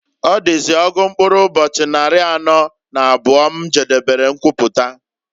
Ọdịzị ọgụ mkpụrụ ụbọchị nnarị anọọ na abụọ m jedebere mkwụpụta.